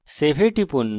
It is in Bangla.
এখন save এ টিপুন